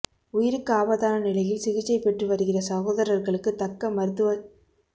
உயிருக்கு ஆபத்தான நிலையில் சிகிச்சை பெற்று வருகிற சகோதரர்களுக்கு தக்க மருத்துவச்